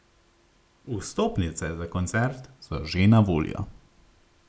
Vstopnice za koncert so že na voljo.